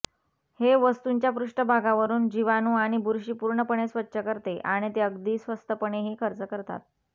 हे वस्तूंच्या पृष्ठभागावरुन जीवाणू आणि बुरशी पूर्णपणे स्वच्छ करते आणि ते अगदी स्वस्तपणेही खर्च करतात